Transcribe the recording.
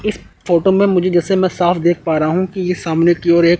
इस फोटो में मुझे जैसे मैं साफ़ देख पारा हूं कि सामने की ओर एक--